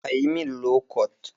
A yi min lokot